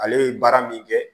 Ale ye baara min kɛ